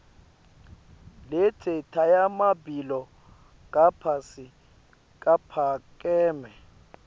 letnye tiremabito laphasi caphakeme